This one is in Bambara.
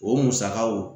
O musakaw